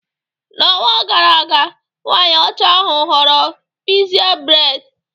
N'ọnwa gara aga, nwanyị ọcha ahụ họọrọ pixie braid